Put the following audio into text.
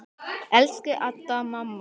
Elsku Adda, mamma.